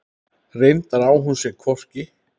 Reyndar á hún sér hvorki